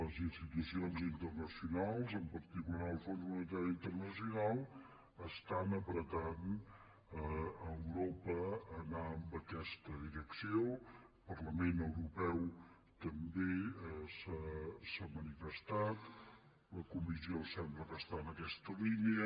les institucions internacionals en particular el fons monetari internacional estan empenyent europa a anar en aquesta direcció el parlament europeu també s’ha manifestat la comissió sembla que està en aquesta línia